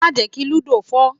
Má jẹ́ kí lúdò fọ́!